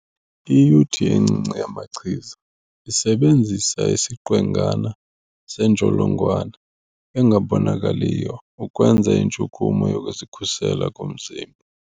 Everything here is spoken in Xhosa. Iyuthi encinci yamachiza isebenzisa isiqwengana sentsholongwane engabonakaliyo ukwenza intshukumo yokuzikhusela komzimba.